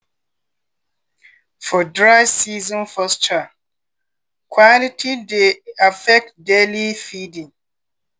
for dry seasonspasture quality dey affect daily feeding.